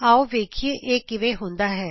ਆਉ ਵੇਖੀਏ ਇਹ ਕਿਵੇਂ ਹੁੰਦਾ ਹੈ